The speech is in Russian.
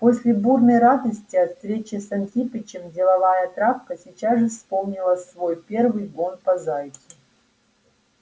после бурной радости от встречи с антипычем деловая травка сейчас же вспомнила свой первый гон по зайцу